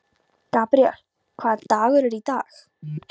Gabríel, hvaða dagur er í dag?